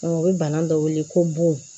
u bɛ bana dɔ wele ko bon